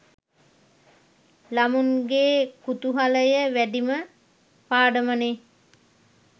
ළමුන්ගේ කුතුහලය වැඩිම පාඩමනේ.